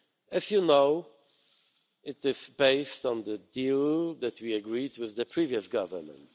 As you know, it is based on the deal that we agreed with the previous Government.